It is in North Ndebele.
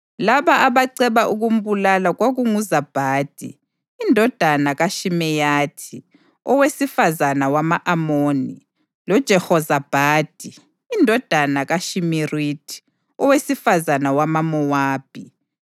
Laba abaceba ukumbulala kwakunguZabhadi, indodana kaShimeyathi owesifazane wama-Amoni loJehozabhadi, indodana kaShimirithi owesifazane wamaMowabi.